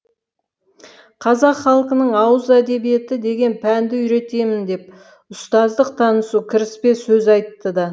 қазақ халқының ауыз әдебиеті деген пәнді үйретемін деп ұстаздық танысу кіріспе сөз айтты да